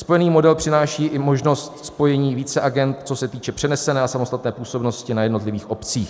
Spojený model přináší i možnost spojení více agend, co se týče přenesené a samostatné působnosti na jednotlivých obcích.